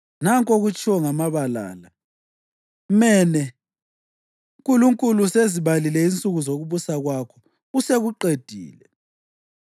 Nanku okutshiwo ngamagama la: Mene: Nkulunkulu usezibalile insuku zokubusa kwakho, usekuqedile.